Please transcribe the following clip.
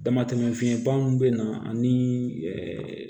Damatɛmɛ fiɲɛba min bɛ na ani